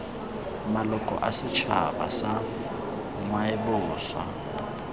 maloko a setšhaba sa ngwaoboswa